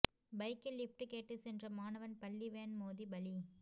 பைக்கில் லிப்ட் கேட்டு சென்ற மாணவன் பள்ளி வேன் மோதி பலி